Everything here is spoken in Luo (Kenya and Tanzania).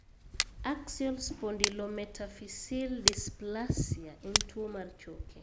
Axial spondylometaphyseal dysplasia en tuwo mar choke.